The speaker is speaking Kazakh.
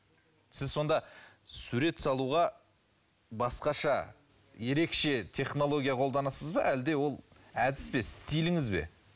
сіз сонда сурет салуға басқаша ерекше технология қолданасыз ба әлде ол әдіс пе стиліңіз бе